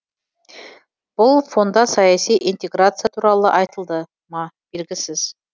бұл фонда саяси интеграция туралы айтылды ма белгісіз